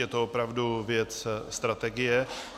Je to opravdu věc strategie.